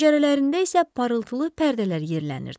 Pəncərələrində isə parıltılı pərdələr yerlənirdi.